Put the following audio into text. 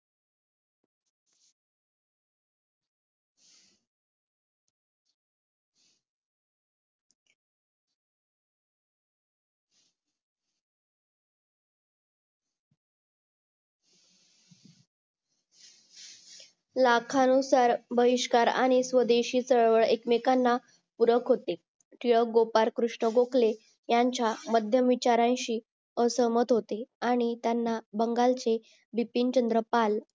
लाखा अनुसार भहिष्कार आणि स्वदेशी चळवळ एक मेकांना पुरक होते तिलक गोपाळ कृष्ण गोकले आण्याचा माध्यम विचारांशी आसमंत होते आणि त्याना बंगाल चे बिपीन चंद्र पाल